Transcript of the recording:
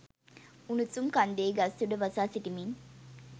උණුසුම් කන්දේ ගස් උඩ වසා සිටිමින්